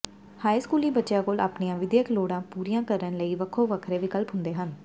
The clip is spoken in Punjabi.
ਹਾਈ ਸਕੂਲੀ ਬੱਚਿਆਂ ਕੋਲ ਆਪਣੀਆਂ ਵਿਦਿਅਕ ਲੋੜਾਂ ਪੂਰੀਆਂ ਕਰਨ ਲਈ ਵੱਖੋ ਵੱਖਰੇ ਵਿਕਲਪ ਹੁੰਦੇ ਹਨ